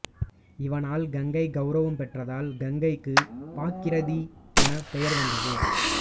இவனால் கங்கை கௌரவம் பெற்றதால் கங்கைக்குப் பாகீரதி எனப் பெயர் வந்தது